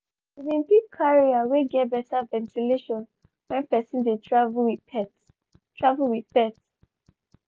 she been pick carrier wey get better ventilation when person de travel with pet. travel with pet.